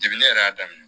Degun ne yɛrɛ y'a daminɛ